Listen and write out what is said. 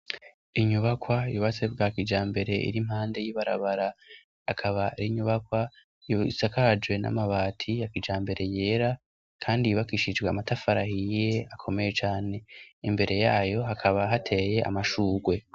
inyubakwa yubatse bwa kijambere irimpande y'ibarabara akaba rinyubakwa isakarajwe n'amabati yakijambere yera kandi yubakishijwe amatafari ahiye akomeye cane imbere yayo hakaba hateye amashugwe